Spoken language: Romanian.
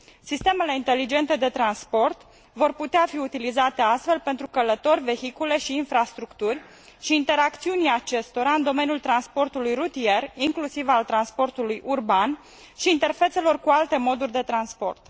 Sistemele inteligente de transport vor putea fi utilizate astfel pentru călători, vehicule și infrastructuri și pentru interacțiunea acestora în domeniul transportului rutier, inclusiv al transportului urban și al interfețelor cu alte moduri de transport.